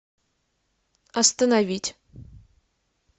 остановить